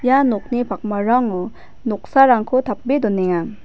ia nokni pakmarango noksarangko tape donenga.